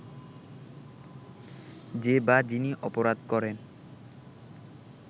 যে বা যিনি অপরাধ করেন